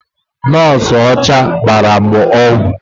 Nọọsụ ọcha gbara m ọgwụ.